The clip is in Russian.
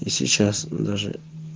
и сейчас мм даже